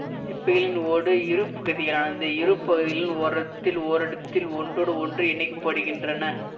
சிப்பிகளின் ஓடு இரு பகுதிகளானது இரு பகுதிகளும் ஓரத்தில் ஓரிடத்தில் ஒன்றோடு ஒன்று இணைக்கப்பட்டிருக்கின்றன